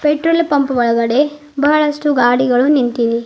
Petrol pump ಒಳಗಡೆ ಬಹಳಷ್ಟು ಗಾಡಿಗಳು ನಿಂತಿವೆ.